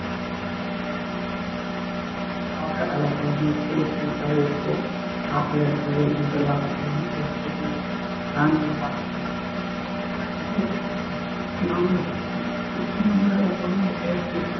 பாக்க அழகாவும் இருக்கும் cute ஆவும் இருக்கும் காட்டுல இருக்கிற விலங்குகளா ஆகட்டும் வீட்டுல இருக்குற பிராணிகளா ஆகட்டும் எல்லாமே நம்மளால முடிஞ்ச அளவுக்கு